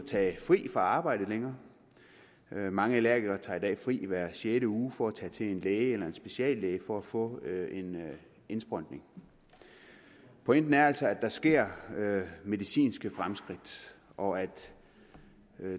tage fri fra arbejde længere mange allergikere tager i dag fri hver sjette uge for at tage til en læge eller en speciallæge for at få en indsprøjtning pointen er altså at der sker medicinske fremskridt og at